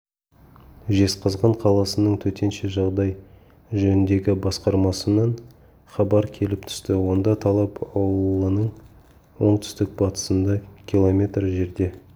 жезқазған қаласының төтенше жағдай жөніндегі басқармасынан хабар келіп түсті онда талап аулының оңтүстік-батысында километр жерде